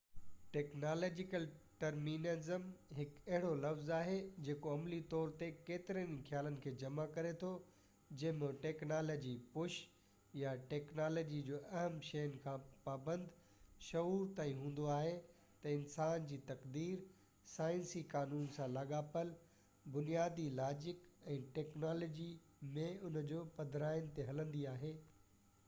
technological determinism هڪ اهڙو لفظ آهي جيڪو عملي طور تي ڪيترن ئي خيالن کي جمع ڪري ٿو جنهن ۾ ٽيڪنالاجي-پُش يا ٽيڪنالاجي جو اهم شين کان پابند شعور تائين هوندو آهي تہ انسان جي تقدير سائنسي قانون سان لاڳاپيل بنيادي لاجڪ ۽ ٽيڪنالاجي ۾ ان جو پڌرائين تي هلندي آهي